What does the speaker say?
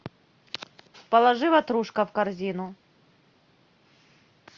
положи ватрушка в корзину